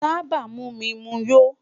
Taba mu mi mu yó